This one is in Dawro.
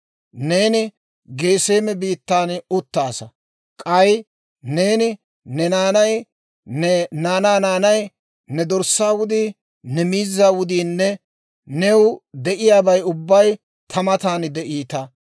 Neeni Geseeme biittan uttaasa; k'ay neeni, ne naanay, ne naanaa naanay, ne dorssaa wudii, ne miizzaa wudiinne new de'iyaabay ubbay ta matan de'iita.